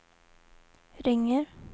ringer